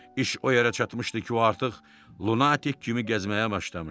İş o yerə çatmışdı ki, o artıq lunatik kimi gəzməyə başlamışdı.